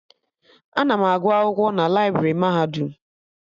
Ana m agụ akwụkwọ na laibrị mahadum